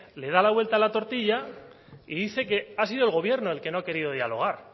le da la vuelta a la tortilla y dice que ha sido el gobierno el que no ha querido dialogar